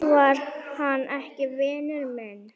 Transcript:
Var hann ekki vinur minn?